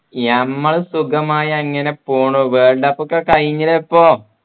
ഞമ്മൾ സുഖമായി അങ്ങനെ പോണു world cup ഒക്കെ കഴിഞ്ഞില്ലേ ഇപ്പോ